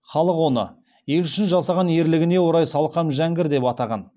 халық оны ел үшін жасаған ерлігіне орай салқам жәңгір деп атанған